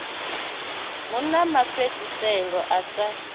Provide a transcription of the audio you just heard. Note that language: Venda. hu na mafhedziselo a sa